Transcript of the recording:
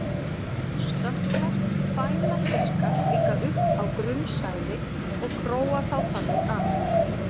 stökklar fæla fiska líka upp á grunnsævi og króa þá þannig af